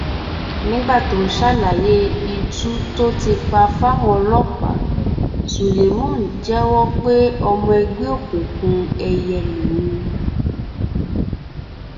nígbà tó ń ṣàlàyé itú tó ti pa fáwọn ọlọpàá spuleman jẹwọ pé ọmọ ẹgbẹ òkùnkùn èìyẹ lòun